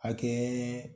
Hakɛ